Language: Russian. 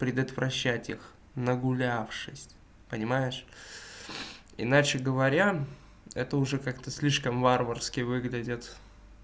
предотвращать их нагулявшись понимаешь иначе говоря это уже как-то слишком варварски выглядят